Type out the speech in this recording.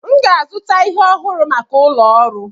M ga-azụta ihe ọhụrụ maka ụlọ ọrụ.